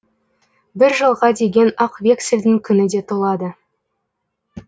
бір жылға деген ақ вексілдің күні де толады